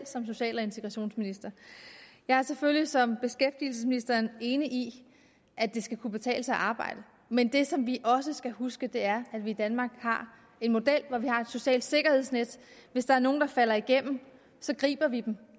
som social og integrationsminister jeg er selvfølgelig som beskæftigelsesministeren enig i at det skal kunne betale sig at arbejde men det som vi også skal huske er at vi i danmark har en model hvor vi har et socialt sikkerhedsnet hvis der er nogle der falder igennem så griber vi dem